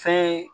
Fɛn ye